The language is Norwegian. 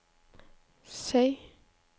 Skei